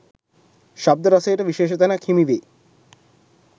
ශබ්ද රසයට විශේෂ තැනක් හිමිවේ.